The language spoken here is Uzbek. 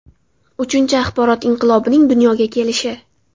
Uchinchi axborot inqilobining dunyoga kelishi.